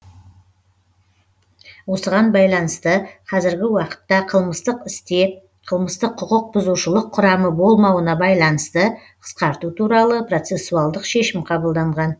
осыған байланысты қазіргі уақытта қылмыстық істе қалмыстық құқық бұзушылық құрамы болмауына байланысты қысқарту туралы процесуалдық шешім қабылданған